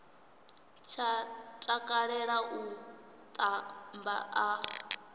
tsha takalela u tamba a